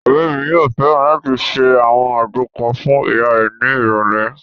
Ọ̀rẹ́ mi yóò fẹ́ràn láti ṣe àwọn àgbo kan fún ìyá rẹ̀ ní ìrọ̀lẹ̀